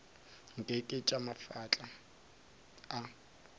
nke ke tša mafahla a